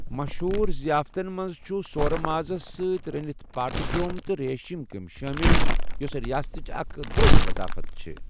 مشہوٗر ضَیافتن منٛز چھِ سورٕ مازس سٕتۍ رنِتھ پٲٹہِ کیٔمہِ تہٕ ریشِم كیمہِ شٲمِل، یوسہٕ ریاستُٕچہِ اکھ درٛوٚجہِ لطافت چھے٘ ۔